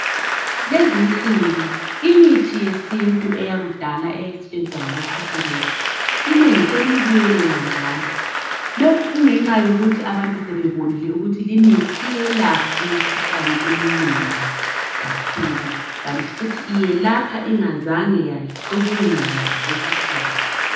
Kulezinsuku imithi yesintu eyakudala eyayisetshenziswa ngabokhokho bethu inengi seliyibuyelela njalo. Lokhu kungenxa yokuthi abantu sebebonile ukuthi limithi iyelapha imikhuhlane eminengi kakhulu kanti futhi yelapha ingazange yacubungulwa ngokwesikhiwa.